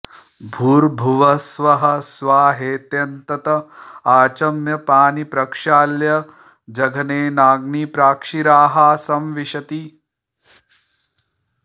भूर्भुवः स्वः स्वाहेत्यन्तत आचम्य पाणी प्रक्षाल्य जघनेनाग्निं प्राक्षिराः संविशति